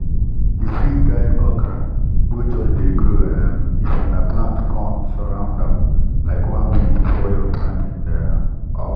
you fit guide okra wey just dey grow um if una plant corn surround am like one week before you plant the um okra